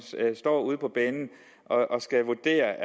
står ude på banen og skal vurdere